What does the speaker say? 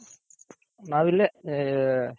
ನಾವಿಲ್ಲೇ ಹ